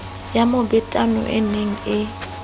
ya mobetano e ne e